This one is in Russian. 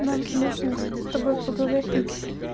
нам нужно с тобой поговорить